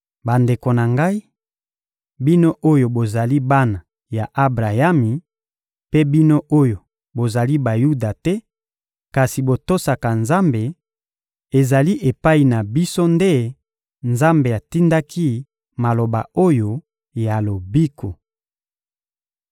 Bandeko na ngai, bino oyo bozali bana ya Abrayami, mpe bino oyo bozali Bayuda te kasi botosaka Nzambe, ezali epai na biso nde Nzambe atindaki maloba oyo ya lobiko.